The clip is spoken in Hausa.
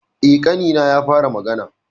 E, ƙanina ya fara magana.